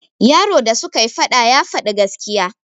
yaro da sukai faɗa ya Fadi gaskiya